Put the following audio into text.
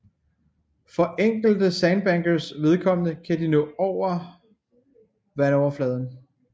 For enkelte sandbankers vedkommende kan de nå over vandoverfladen